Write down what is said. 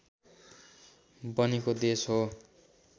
बनेको देश हो